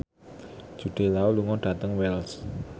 Jude Law lunga dhateng Wells